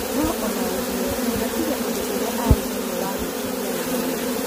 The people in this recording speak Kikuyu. no ona-ũguo nĩatigĩte ũndũ ũrĩa aarĩ naguo wa gwĩkenia we mwene